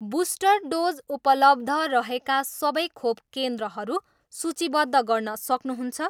Booster dose उपलब्ध रहेका सबै खोप केन्द्रहरू सूचीबद्ध गर्न सक्नुहुन्छ?